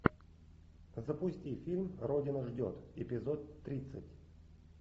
запусти фильм родина ждет эпизод тридцать